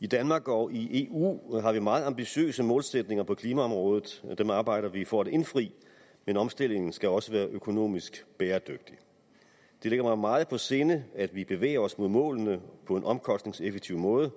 i danmark og i eu har vi meget ambitiøse målsætninger på klimaområdet og dem arbejder vi for at indfri men omstillingen skal også være økonomisk bæredygtig det ligger mig meget på sinde at vi bevæger os mod målene på en omkostningseffektiv måde